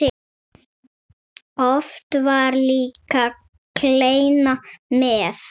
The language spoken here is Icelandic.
Oft var líka kleina með.